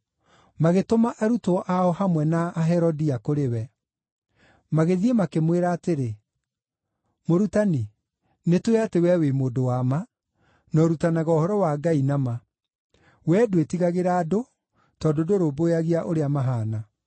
Magĩtũma arutwo ao hamwe na Aherodia kũrĩ we. Magĩthiĩ makĩmwĩra atĩrĩ, “Mũrutani, nĩtũũĩ atĩ wee wĩ mũndũ wa ma, na ũrutanaga ũhoro wa Ngai na ma. Wee ndwĩtigagĩra andũ, tondũ ndũrũmbũyagia ũrĩa mahaana.